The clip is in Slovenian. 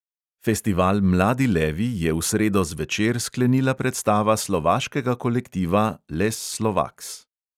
Festival mladi levi je v sredo zvečer sklenila predstava slovaškega kolektiva les slovaks.